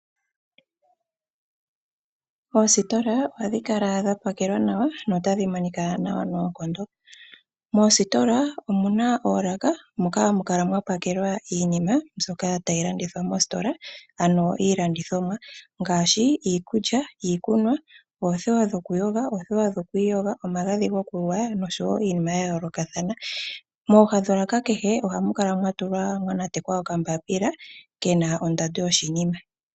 Oosiitola ohadhi kala dha pakelwa nawa na otadhi monika nawa noonkondo. Moositola omu na oolaka moka hamu kala mwa pakelwa iinima mbyoka tayi landithwa moositola, ano iilandithomwa ngaashi; iikulya, iikunwa, oothewa dhokuyoga nokwiiyoga, omagadhi gokugwaya nosho wo iinima ya yoolokathana. Mooha dholaka kehe, ohamu kala mwa natekwa okambaapila ke na ondando yoshinima.